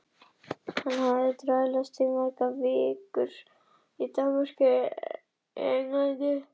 Og hafðir þar áður dvalist tvær vikur í Danmörku og eina í Englandi.